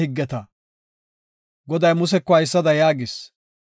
Goday Museko haysada yaagis.